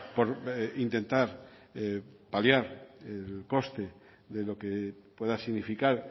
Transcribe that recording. por intentar paliar el coste de lo que pueda significar